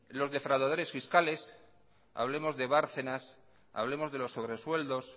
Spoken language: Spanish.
los defraudadores fiscales hablemos de bárcenas hablemos de los sobresueldos